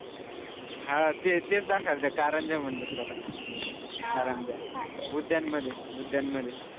हा तेच दाखवायला आलेलं कारंजे म्हणतात त्याला कारंजा उद्यान मध्ये उद्यान मध्ये